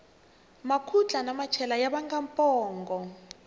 makhutla na machela ya vanga pongo